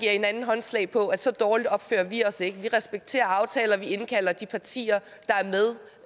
hinanden håndslag på at så dårligt opfører vi os ikke vi respekterer aftaler og vi indkalder de partier